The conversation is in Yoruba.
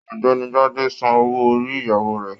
Ọ̀gbẹ́ni Gbade sàn owó orí ìyàwó rẹ.